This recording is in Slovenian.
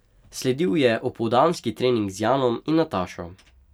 Sledil je opoldanski trening z Janom in Natašo.